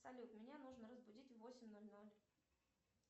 салют меня нужно разбудить в восемь ноль ноль